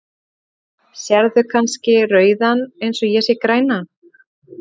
Sérð þú kannski rauðan eins og ég sé grænan?